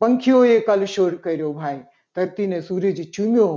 પંખીઓએ colour show કર્યો. ભાઈ ધરતીને સૂરજ ચૂમયો